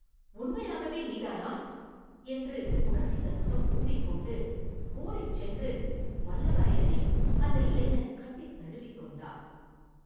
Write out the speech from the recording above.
உண்மையாகவே நீதானா?” என்று உணர்ச்சி ததும்பக் கூவிக் கொண்டு ஓடிச் சென்று வல்லவரையனை அந்த இளைஞன் கட்டித் தழுவிக் கொண்டான்.